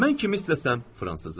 Mən kimi istəsəm, Fransızı?